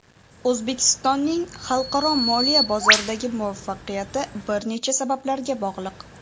O‘zbekistonning xalqaro moliya bozordagi muvaffaqiyati bir necha sabablarga bog‘liq.